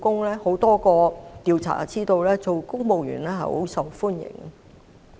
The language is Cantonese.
根據多個調查，公務員職位甚受歡迎。